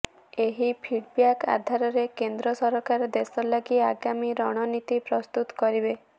ଏହି ଫିଡବ୍ୟାକ୍ ଆଧାରରେ କେନ୍ଦ୍ର ସରକାର ଦେଶଲାଗି ଆଗାମୀ ରଣନୀତି ପ୍ରସ୍ତୁତ କରିବେ